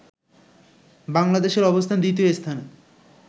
বাংলাদেশের অবস্থান দ্বিতীয় স্থানে